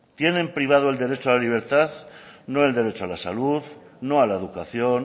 tienen privado el derecho a la libertad no el derecho a la salud no a la educación